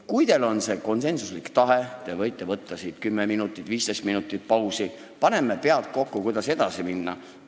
Kui teil on see konsensuslik tahe, te võite võtta 10 minutit või 15 minutit pausi – paneme pead kokku, kuidas edasi minna!